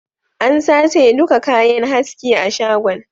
An sace duka kayan haski a shagon